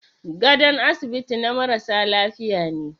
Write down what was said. Gadon asibiti na marasa lafiya ne.